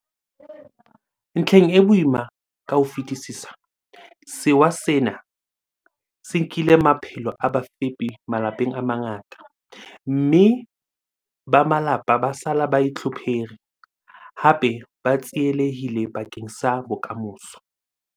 Ntlheng e boima ka ho fetisisa, sewa sena se nkile maphelo a bafepi malapeng a mangata, mme ba malapa ba sala ba itlhophere, hape ba tsielehille bakeng sa bokamoso.